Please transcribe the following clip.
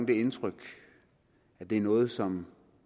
det indtryk at det er noget som